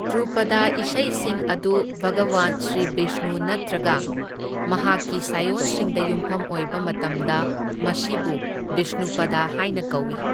ꯙ꯭ꯔꯨꯄꯗ ꯏꯁꯩꯁꯤꯡ ꯑꯗꯨ ꯚꯒꯋꯥꯟ ꯁ꯭ꯔꯤ ꯕꯤꯁꯅꯨ ꯅꯠꯇ꯭ꯔꯒ ꯃꯍꯥꯛꯀꯤ ꯁꯥꯏꯑꯣꯟꯁꯤꯡꯗ ꯌꯨꯝꯐꯝ ꯑꯣꯏꯕ ꯃꯇꯝꯗ ꯃꯁꯤꯕꯨ ꯕꯤꯁꯅꯨꯄꯗ ꯍꯥꯏꯅ ꯀꯧꯢ꯫